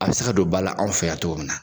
A bɛ se ka don bala anw fɛ yan cogo min na.